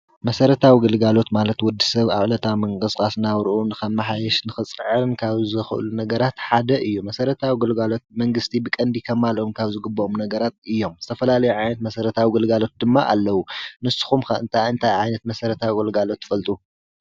መሰረታዊ ግልጋሎት ማለት ወዲ ሰብ ኣብ ዕለታዊ መንቅስቓስ ናብርኡ ንከመሓይሽ ንኽፅዕርን ካብ ዝኽእሉ ነገራት ሓደ እዩ። መሰረታዊ ኣገልግሎት መንግስቲ ብቀንዲ ከማልኦም ካብ ዝግብኦም ነገራት እዮም። ዝተፈላለየ ዓይነት መሰረታዊ ግልጋሎት ድማ ኣለዉ። ንስኹም ከ እንታይ እንታይ ዓይነት ትፈልጡ?